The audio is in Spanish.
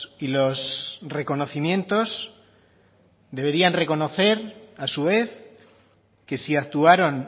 y los reconocimientos deberían reconocer a su vez que si actuaron